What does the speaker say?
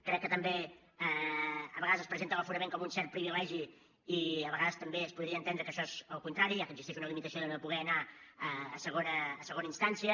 crec que també a vegades es presenta l’aforament com un cert privilegi i a vegades també es podria entendre que això és el contrari ja que existeix una limitació de no poder anar a segona instància